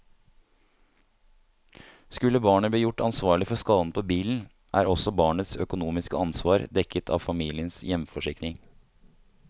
Skulle barnet bli gjort ansvarlig for skaden på bilen, er også barnets økonomiske ansvar dekket av familiens hjemforsikring.